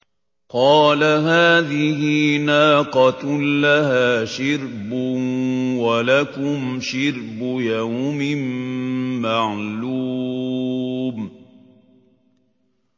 قَالَ هَٰذِهِ نَاقَةٌ لَّهَا شِرْبٌ وَلَكُمْ شِرْبُ يَوْمٍ مَّعْلُومٍ